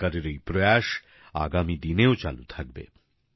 সরকারের এই প্রয়াস আগামী দিনেও চালু থাকবে